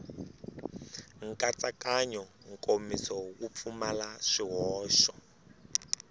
nkatsakanyo nkomiso wu pfumala swihoxo